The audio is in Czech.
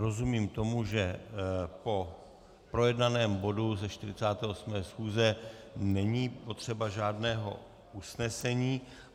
Rozumím tomu, že po projednaném bodu ze 48. schůze není potřeba žádného usnesení.